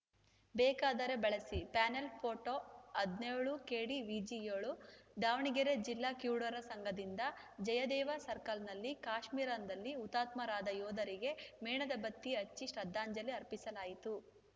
ಬೇಕಾದರೆ ಬಳಸಿ panel photo ಹದಿನೇಳು ಕೆಡಿವಿಜಿ ಏಳು ದಾವಣಗೆರೆ ಜಿಲ್ಲಾ ಕಿವುಡರ ಸಂಘದಿಂದ ಜಯದೇವ ಸರ್ಕಲ್‌ನಲ್ಲಿ ಕಾಶ್ಮೀರದಲ್ಲಿ ಹುತಾತ್ಮರಾದ ಯೋಧರಿಗೆ ಮೇಣದ ಬತ್ತಿ ಹಚ್ಚಿ ಶ್ರದ್ಧಾಂಜಲಿ ಅರ್ಪಿಸಲಾಯಿತು